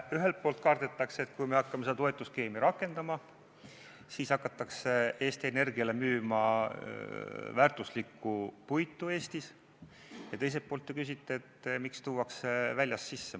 Ühelt poolt kardetakse, et kui me hakkame seda toetusskeemi rakendama, siis hakatakse Eesti Energiale Eestis müüma väärtuslikku puitu, ja teiselt poolt te küsite, miks tuuakse väljast sisse.